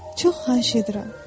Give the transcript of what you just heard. Çox xahiş edirəm.